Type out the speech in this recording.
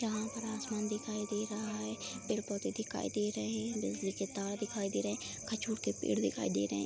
यहाँ पर आसमान दिखाई दे रहा है पेड़-पौधे दिखाई दे रहे हैं बिजली के तार दिखाई दे रहे हैं खजूर के पेड़ दिखाई दे रहे हैं।